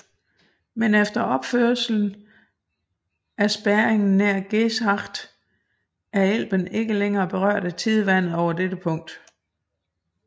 Men efter opførelsen af spærringen nær Geesthacht er Elben ikke længere berørt af tidevandet over dette punkt